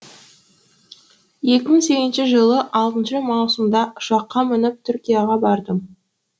екі мың сегізінші жылы алтыншы маусымда ұшаққа мініп түркияға бардым